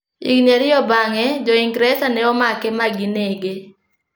Higini ariyo bang'e, Jo-Ingresa ne omake ma ginege.